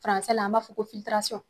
la an b'a fɔ ko .